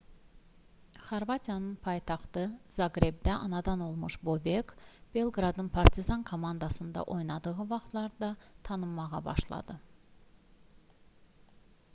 xorvatiyanın paytaxtı zaqrebdə anadan olmuş bobek belqradın partizan komandasında oynadığı vaxtlarda tanınmağa başladı